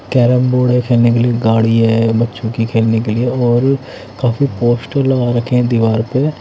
carrom board है खेलने के लिए गाड़ी है बच्चों की खेलने के लिए और काफी पोस्टर लगा रखे हैं दिवार पे--